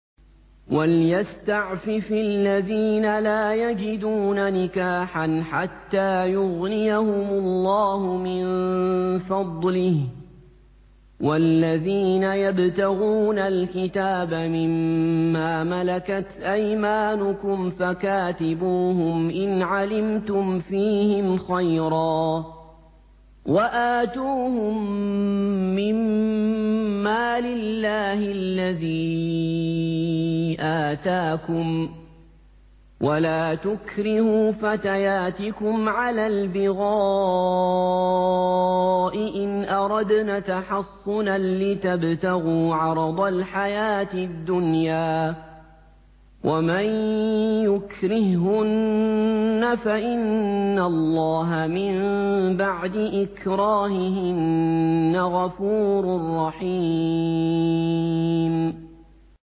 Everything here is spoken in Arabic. وَلْيَسْتَعْفِفِ الَّذِينَ لَا يَجِدُونَ نِكَاحًا حَتَّىٰ يُغْنِيَهُمُ اللَّهُ مِن فَضْلِهِ ۗ وَالَّذِينَ يَبْتَغُونَ الْكِتَابَ مِمَّا مَلَكَتْ أَيْمَانُكُمْ فَكَاتِبُوهُمْ إِنْ عَلِمْتُمْ فِيهِمْ خَيْرًا ۖ وَآتُوهُم مِّن مَّالِ اللَّهِ الَّذِي آتَاكُمْ ۚ وَلَا تُكْرِهُوا فَتَيَاتِكُمْ عَلَى الْبِغَاءِ إِنْ أَرَدْنَ تَحَصُّنًا لِّتَبْتَغُوا عَرَضَ الْحَيَاةِ الدُّنْيَا ۚ وَمَن يُكْرِههُّنَّ فَإِنَّ اللَّهَ مِن بَعْدِ إِكْرَاهِهِنَّ غَفُورٌ رَّحِيمٌ